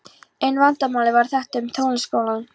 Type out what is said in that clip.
Eina vandamálið var þetta með Tónskólann.